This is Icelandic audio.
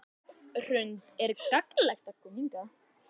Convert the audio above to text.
Hrund: Er gagnlegt að koma hingað?